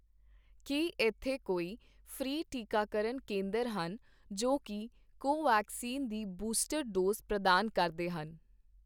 ਕੀ ਇੱਥੇ ਕੋਈ ਫ੍ਰੀ ਟੀਕਾਕਰਨ ਕੇਂਦਰ ਹਨ ਜੋ, ਕਿ ਕੋਵੈਕਸਿਨ ਦੀ ਬੂਸਟਰ ਡੋਜ਼ ਪ੍ਰਦਾਨ ਕਰਦੇ ਹਨ?